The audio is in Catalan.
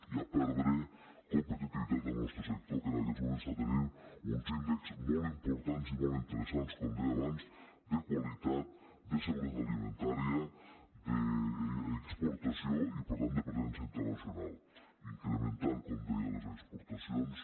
i a perdre competitivitat del nostre sector que en aquests moments està tenint uns índexs molt importants i molt interessants com deia abans de qualitat de seguretat alimentària d’exportació i per tant de presència internacional incrementant com deia les exportacions